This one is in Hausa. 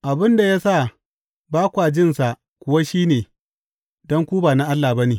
Abin da ya sa ba kwa jin sa kuwa shi ne don ku ba na Allah ba ne.